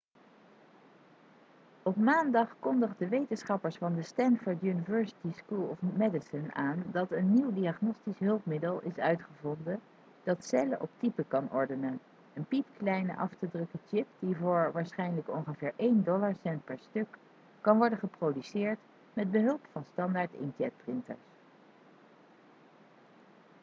op maandag kondigden wetenschappers van de stanford university school of medicine aan dat een nieuw diagnostisch hulpmiddel is uitgevonden dat cellen op type kan ordenen een piepkleine af te drukken chip die voor waarschijnlijk ongeveer één dollarcent per stuk kan worden geproduceerd met behulp van standaard inkjetprinters